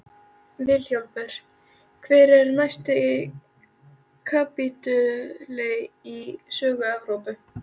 VILHJÁLMUR: Hver er næsti kapítuli í sögu Evrópu?